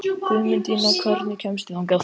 Guðmundína, hvernig kemst ég þangað?